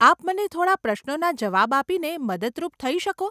આપ મને થોડાં પ્રશ્નોના જવાબ આપીને મદદરૂપ થઈ શકો?